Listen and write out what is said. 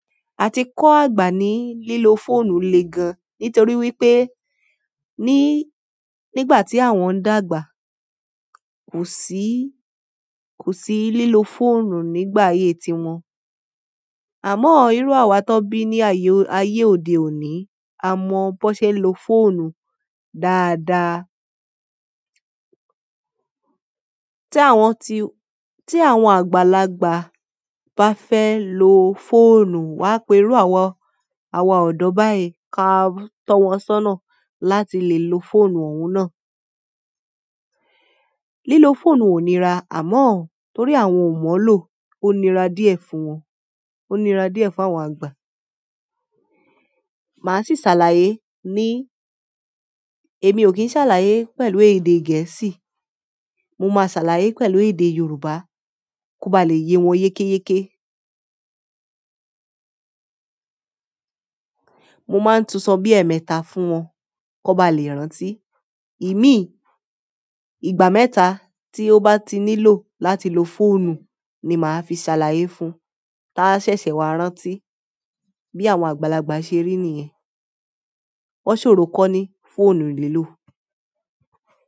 A ti kọ́ àgbà ní lílo fóònù lè gan, nítorí wípé ní, nígbà tí àwọn ń dàgbà, kò sí, kò sí lílo fóònù nígbà ayé tiwọn. Àmọ́, ìrú àwa tan bí ní aye ayé òde òní, a mọ bó ṣe ń lo fóònù dáadáa. Tí àwọn ti, tí àwọn àgbàlagbà bá fẹ́ lo fóònù, wà á pẹrú àwa, àwa ọ̀dọ́ báyìí káà tọ́ wọn sọ́nà láti lè lo fóònù òun náà. Lílo fóònù ò níra, àmọ́ torí àwọn ò mọ̀ ọ́ lò, ó níra díẹ̀ fún wọn, ó níra díẹ̀ fún àwọn àgbà. Màá si ṣàlàyé ni emi o kin ṣàlàyé pẹ̀lú èdè gẹ̀ẹ́sì mo ma ṣàlàyé pẹ̀lú èdè Yorùbá ko ba le ye wọn yeke yeke. Mo máa ń tún sọ bí ẹ̀ẹ̀mẹta fún wọn kàn ba lè rántí. Imi, ìgbà mẹ́ta tí ó bá ti nílò láti lo fóònù ni màá fi ṣàlàyé fún, táa ṣẹ̀ṣẹ̀ wá rántí. Bí àwọn àgbàlagbà ṣe rí nìyẹn. Wọ́n ṣòro kọ́ ní fóònù lílò.